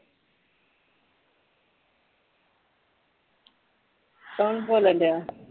ਕੌਨੰ ਬੋਲਣ ਦਿਆਂ?